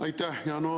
Aitäh!